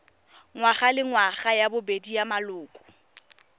ngwagalengwaga ya bobedi ya maloko